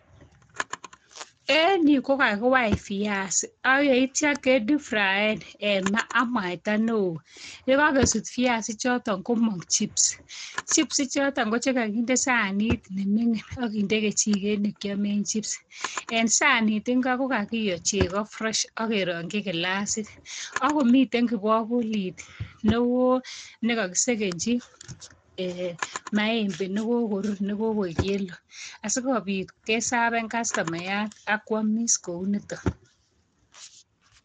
En yu kakiwai viasik. Ak yeitia ke deep fraen en maa ak mwaita neoo. Yekakesut viasik choton komong chips. Chips choton ko chekakinde sanit ne mingin akinde kejiket nekiamen chips. Eng sanit ingo ko kakiyo chego fresh akerongchi kilasit. Akomiten kibakulit neuo nekakisekenchi um maembe nekokorur, nekokoi kelu. Asikobit kesaven kastomayat, akwamis kouniton.